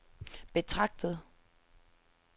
betragtet